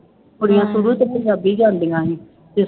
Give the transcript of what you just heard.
ਕੁੜੀਆਂ ਸ਼ੁਰੂ ਤੋਂ ਪੰਜਾਬੀਆਂ ਜਾਂਦੀਆਂ ਸੀ ਤੇ